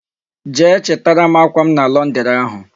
Jee chitara m akwa m na Londiri ahu